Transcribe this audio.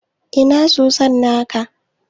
Ina soson naka?